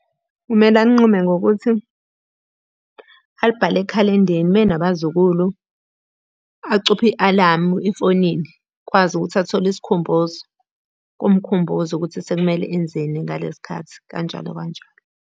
Kumele alinqume ngokuthi, alibhale ekhalendeni uma enabazukulu, acuphe i-alamu efonini akwazi ukuthi athole isikhumbuzo. Kumkhumbuze ukuthi sekumele enzeni ngalesi khathi, kanjalo kanjalo.